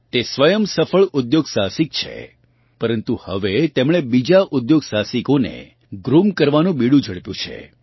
તે સ્વયં સફળ ઉદ્યોગ સાહસિક છે પરન્તુ હવે તેમણે બીજાં ઉદ્યોગ સાહસિકોને ગ્રૂમ કરવાનું બીડું ઝડપ્યું છે